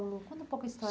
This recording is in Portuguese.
Conta um pouco a história